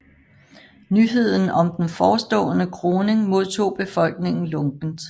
Nyheden om den forstående kroning modtog befolkningen lunkent